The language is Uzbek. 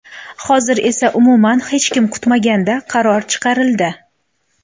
Hozir esa umuman hech kim kutmaganda qaror chiqarildi.